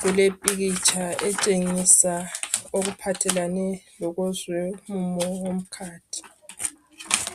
kulepikitsha etshengisa okuphathelane lokwezomumo wokhathi